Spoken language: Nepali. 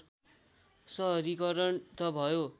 सहरीकरण त भयो